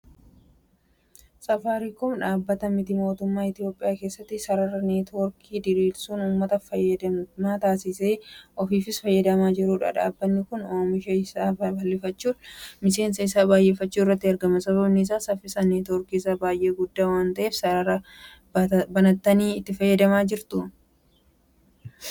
Saafaariikoom dhaabbata miti mootummaa Itoophiyaa keessatti sarara neetoorkii diriirsuun uummata fayyadamaa taasisee ofiifis fayyadamaa ta'aa jirudha. Dhaabbanni kun oomisha isaa babal'ifachuudhaan miseensa isaa baay'ifachuu irratti argama. Sababni isaa saffisni neetoorkii isaa baay'ee guddaa waanta'eefidha. Sarara kana bitattanii itti fayyadamaa jirtuu?